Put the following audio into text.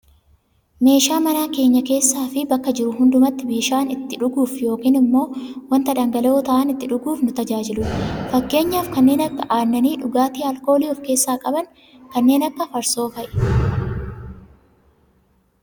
Meeshaa mana keenya keessaafi bakka jirru hundumattuu bishaan itti dhuguuf yookaan ammoo wanta dhangala'oo ta'an itti dhuguuf nu tajaajiludha. Fakkeenyaaf kanneen akka aannanii dhugaatii aalkoolii of keessaa qaban kanneen akka farsoofaa'i.